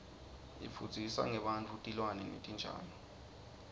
ifundzisa ngebantfu tilwane netitjalo